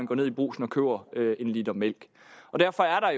går ned i brugsen og køber en liter mælk derfor er